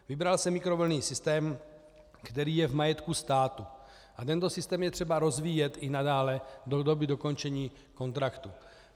Vybral se mikrovlnný systém, který je v majetku státu, a tento systém je třeba rozvíjet i nadále do doby dokončení kontraktu.